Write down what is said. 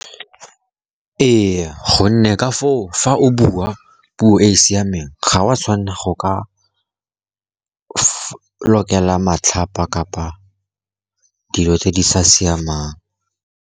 Ee, gonne ka foo fa o bua puo e e siameng, ga o a tshwanela go ka lokela matlhapa kapa dilo tse di sa siamang.